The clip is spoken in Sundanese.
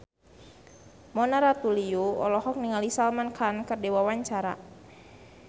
Mona Ratuliu olohok ningali Salman Khan keur diwawancara